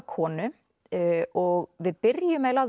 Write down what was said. konu og við byrjum eiginlega